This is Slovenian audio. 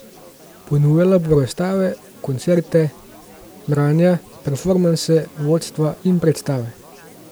Ponujala bo razstave, koncerte, branja, performanse, vodstva in predstave.